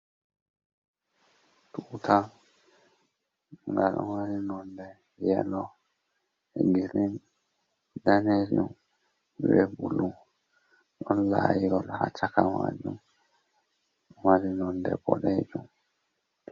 Tuta ngal wani nonde yelo, grin, danejum be bulu ɗon layiyol ha chaka majum mari nonde boɗejum.